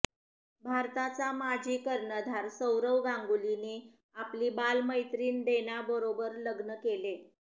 भारताचा माजी कर्णधार सौरव गांगुलीने आपली बालमैत्रिण डोनाबरोबर लग्न केले